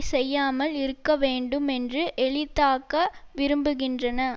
செய்யாமல் இருக்க வேண்டும் என்று எளித்தாக்க விரும்புகின்றன